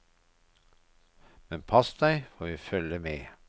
Men pass deg, for vi følger med.